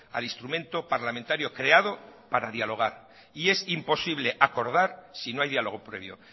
al instrumento parlamentario creado para dialogar y es imposible acordar si no hay diálogo previo